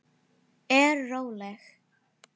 Nei, ertu frá þér!